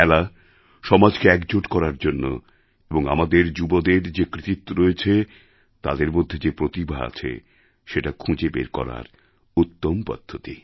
খেলা সমাজকে একজোট করার জন্য এবং আমাদের যুবদের যে কৃতিত্ব রয়েছে তাদের মধ্যে যে প্রতিভা আছে সেটা খুঁজে বের করার উত্তম পদ্ধতি